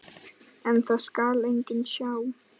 En það skal enginn sjá.